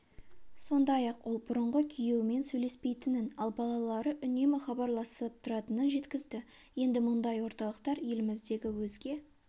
сондай-ақ ол бұрынғы күйеуімен сөйлеспейтінін ал балалары үнемі хабарласып тұратынын жеткізді енді мұндай орталықтар еліміздегі өзге